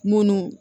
Munnu